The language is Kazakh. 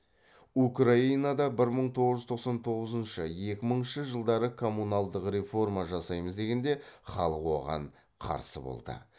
украинада бір мың тоғыз жүз тоқсан тоғызыншы екі мыңыншы жылдары коммуналдық реформа жасаймыз дегенде халық оған қарсы болды